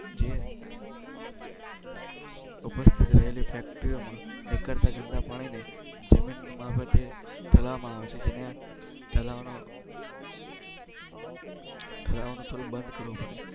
જે. ઉપસ્થિત રહેલી ફેક્ટરીઓ નીકળતા ગંદા પાણીને જમીન મારફતે કરવામાં આવે છે જેને ચલાવવાનો. ધરાવતો બંધ કરો.